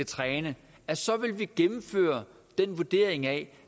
træne gennemfører den vurdering af